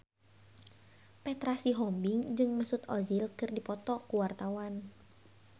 Petra Sihombing jeung Mesut Ozil keur dipoto ku wartawan